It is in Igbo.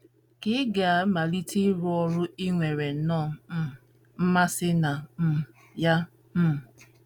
Ka ị̀ ga - amalite ịrụ ọrụ i nwere nnọọ um mmasị na um ya? um